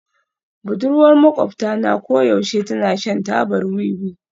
Budurwar maƙwabta na koyaushe tana shan tabar wiwi